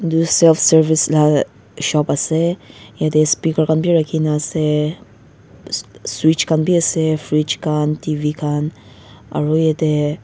self service la shop ase yatae speaker khan bi rakhina ase switch khan bi ase fridge khan T_V khan aro yatae--